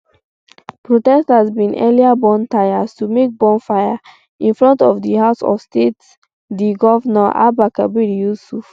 protesters bin earlier burn tyres to make bonfire in front of di house of state di govnor abba kabir yusuf